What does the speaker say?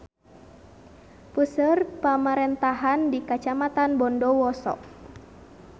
Puseur pamarentahan di Kacamatan Bondowoso.